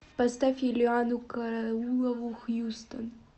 поставь юлианну караулову хьюстон